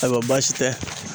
Ayiwa baasi tɛ